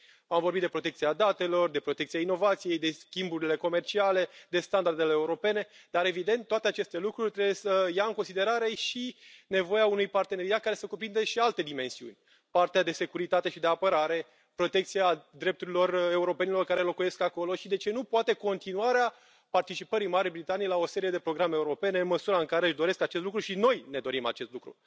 Am vorbit de protecția datelor, de protecția inovației, de schimburile comerciale, de standardele europene, dar, evident, toate aceste lucruri trebuie să ia în considerare și nevoia unui parteneriat care să cuprindă și alte dimensiuni partea de securitate și de apărare, protecția drepturilor europenilor care locuiesc acolo și, de ce nu, poate continuarea participării Marii Britanii la o serie de programe europene, în măsura în care își doresc acest lucru și noi ne dorim acest lucru.